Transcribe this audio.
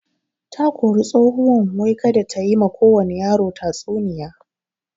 Takori tsohuwan wai kada tayi ma kowani yaro tatsuniya